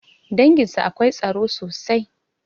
Danginsu akwai tsaro sosai